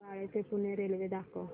बाळे ते पुणे रेल्वे दाखव